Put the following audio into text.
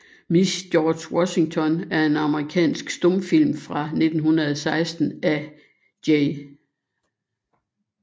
Miss George Washington er en amerikansk stumfilm fra 1916 af J